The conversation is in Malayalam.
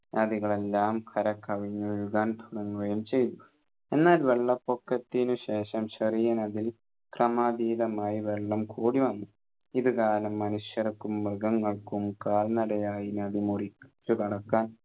നദികളെല്ലാം കരകവിഞ്ഞൊഴുകാൻ തുടങ്ങുകയും ചെയ്തു എന്നാൽ വെള്ളപൊക്കത്തിനു ശേഷം ചെറിയ നദി ക്രമാതീതമായി വെള്ളം കൂടി വന്നു ഇതു കാരണം മനുഷ്യർക്കും മൃഗങ്ങൾക്കും കാൽ നടയായ് നദി മുറിച്ചു കടക്കാൻ